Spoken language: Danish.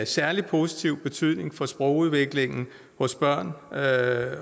særlig positiv betydning for sprogudviklingen hos børn at